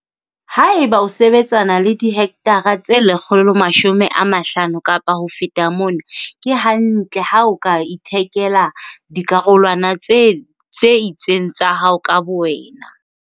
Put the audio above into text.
Ha e ba o sebetsana le dihekthara tse 150 kapa ho feta mona, ke hantle ha o ka ithekela dikarolwana tse tse itseng tsa hao ka bowena.